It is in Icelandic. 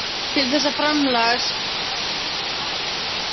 Til þessa framsals lægi engin lagakvöð.